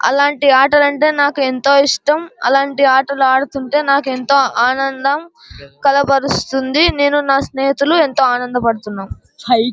అలాంటి ఆటలు అంటే నాకు ఎంతో ఇష్టం అలాంటి ఆటలు ఆడ్తూ ఉంటె ఎంతో ఆనందం కలబరుస్తుంది నేను నా స్నేహితులు ఎంతో ఆనందం పడుతూనాం --